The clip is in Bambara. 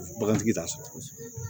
Bagantigi t'a sɔrɔ